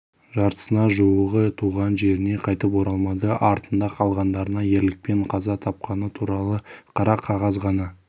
жартысына жуығы туған жеріне қайтып оралмады артында қалғандарына ерлікпен қаза тапқаны туралы қара қағаз ғана